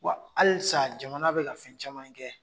Wa halisa jamana bɛ ka fɛn caman kɛ.